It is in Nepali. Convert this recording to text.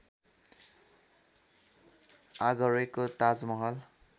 आगरेको ताजमहल